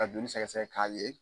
Ka joli sɛgɛsɛgɛ k'a